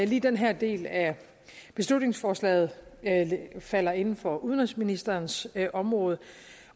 lige den her del af beslutningsforslaget falder inden for udenrigsministerens område